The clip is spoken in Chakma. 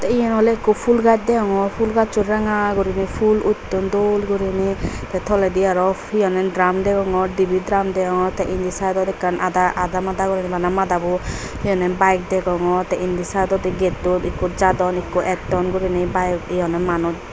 iye oley ekko pul gach degongor pul gaccho rangaguriney pul utton dol goriney te toledi arow he honde dram degongor dibey dram degongor indi saidodi ekkan ada adamada goriney bana madabuo he honne bayek degongor te indi saidodi gettot ekko jadon ekko etton ejo bayek hihonde manuch.